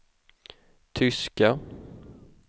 tyska